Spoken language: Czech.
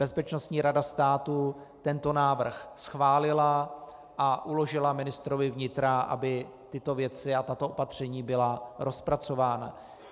Bezpečnostní rada státu tento návrh schválila a uložila ministrovi vnitra, aby tyto věci a tato opatření byla rozpracována.